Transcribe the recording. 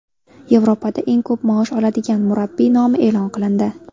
Yevropada eng ko‘p maosh oladigan murabbiy nomi e’lon qilindi.